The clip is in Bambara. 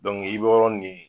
i be yɔrɔ nin